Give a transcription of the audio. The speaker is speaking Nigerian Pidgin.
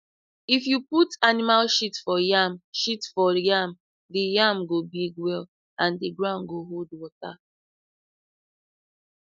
if you put animal shit for yam shit for yam the yam go big well and the ground go hold water